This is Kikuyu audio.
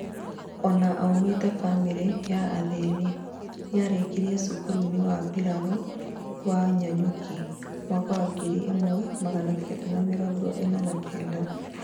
Ona aumĩte bamĩrĩ ya athĩni, nĩarĩkirĩe cukuru-inĩ wa mbirarũ wa nanyuki, mwaka wa ngiri ĩmwe magana Kenda ma mĩrongo ĩna na Kenda